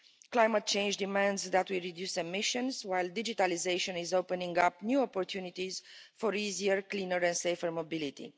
Climate change demands that we reduce emissions, while digitalisation is opening up new opportunities for easier cleaner and safer mobility.